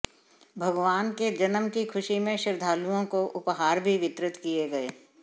भगवान के जन्म की खुशी में श्रद्धालुओं को उपहार भी वितरित किए गए